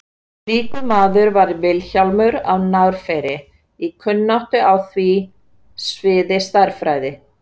slíkur maður var vilhjálmur á narfeyri í kunnáttu á sviði stærðfræði